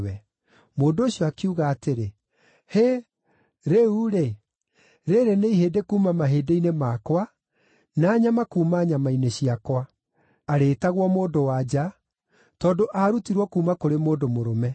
Mũndũ ũcio akiuga atĩrĩ, “Hĩ! Rĩu-rĩ, rĩĩrĩ nĩ ihĩndĩ kuuma mahĩndĩ makwa, na nyama cia mwĩrĩ wakwa. Arĩĩtagwo mũndũ-wa-nja, tondũ aarutirwo kuuma kũrĩ mũndũ mũrũme.”